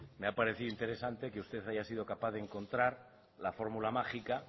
me ha parecido interesante que usted haya sido capaz de encontrar la fórmula mágica